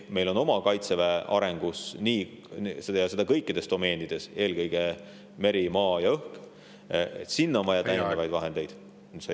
Meil on oma Kaitseväe arenguks – ja seda kõikides domeenides, aga eelkõige merel, maal ja õhus – vaja täiendavaid vahendeid.